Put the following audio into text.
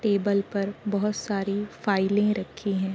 Table पर बहुत सारी फाइलें रखी हैं।